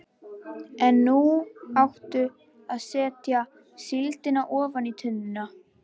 En nú áttu að setja síldina ofan í tunnuna.